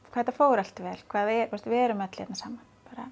þetta fór allt vel við erum öll hérna saman